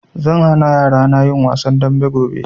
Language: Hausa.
Zan hana yarana yin wasan dambe gobe